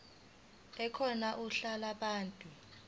ekhona uhla lwabantu